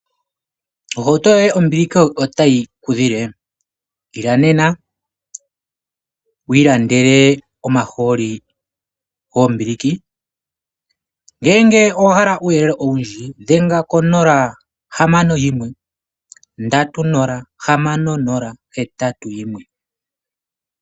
Ohauto yoye kombiliki otayi kudhile? Ila nena wu ilandele omahooli goombiliki. Ngele owa hala uuyele owundji dhenga ko 061306081.